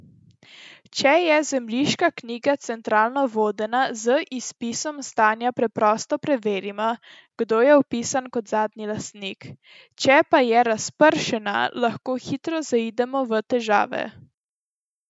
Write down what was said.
Če je zemljiška knjiga centralno vodena, z izpisom stanja preprosto preverimo, kdo je vpisan kot zadnji lastnik, če pa je razpršena, lahko hitro zaidemo v težave.